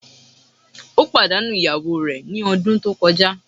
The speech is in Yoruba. Ó pàdánù ìyàwó rè ní ọdún tí ó kọjá